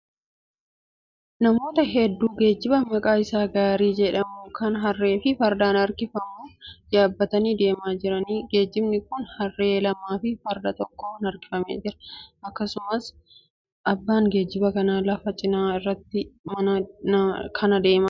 Namoota hedduu geejjiba maqaan isaa gaarii jedhamu kan harree fi fardaan harkifamu yaabbatanii deemaa jiraniidha. Geejjibni kun harree lamaa fi farda tokkoon harkifamaa jira. Akkasumallee abbaan geejjiba kanaa lafa cina gaarii kanaa deemaa jira.